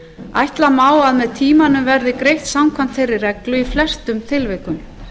ætla má að með tímanum verði greitt samkvæmt þeirri reglu í flestum tilvikum